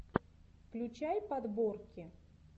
включай подборки